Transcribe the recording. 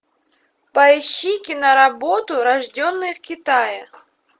поищи киноработу рожденные в китае